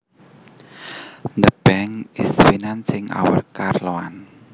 The bank is financing our car loan